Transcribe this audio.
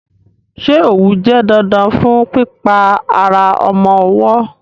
Ṣé òwú jẹ́ dandan fún pípa ara ọmọ ọwọ́?